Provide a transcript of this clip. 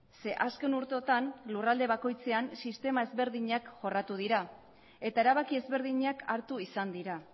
ze azken urteotan lurralde bakoitzean sistema ezberdinak jorratu dira eta erabaki ezberdinak hartu izan dira